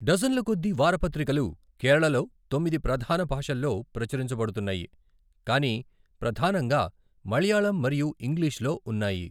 డజన్ల కొద్దీ వార పత్రికలు కేరళలో తొమ్మిది ప్రధాన భాషల్లో ప్రచురించబడుతున్నాయి, కానీ ప్రధానంగా మలయాళం మరియు ఇంగ్లిష్‌లో ఉన్నాయి.